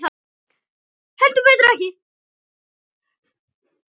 Heldur betur ekki.